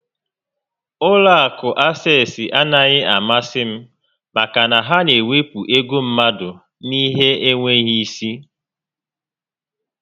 Ụlọ akụ Access anaghị amasị m maka na ha na ewepụ ego mmadụ n'ihe n'enweghị isi